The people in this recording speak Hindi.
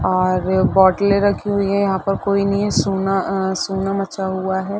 और बोटले रखी हुई है यहाँ पर कोई नहीं है सुना अ सुना मचा हुआ है।